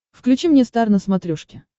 включи мне стар на смотрешке